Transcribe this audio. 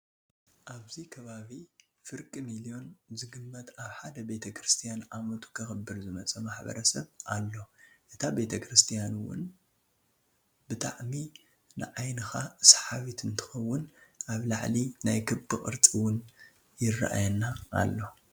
ኣብዚ ከባቢ ከባቢ ፍርቂ ሚልዮን ዝግመት ኣብ ሓደ ቤተክርስትያን ዓመቱ ከከብር ዝመፀ ማሕበረሰብ ኣሉ እታ ቤተክርስትያን እውነ ብጣዕሚ ንዓይንካ ሰሓቢት እንትከውን ኣብ ላዕሊ ናይ ክቢ ቅርፂ እውን የረኣየና ኣሎ።